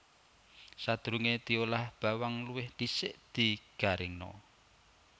Sadurungé diolah bawang luwih dhisik digaringna